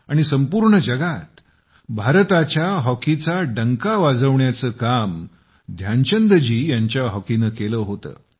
कारण संपूर्ण दुनियेमध्ये भारताच्या हॉकीचा डंका बजावण्याचं काम ध्यानचंद जी यांच्या हॉकीनं केलं होतं